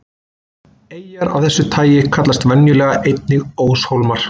Eyjar af þessu tagi kallast venjulega einnig óshólmar.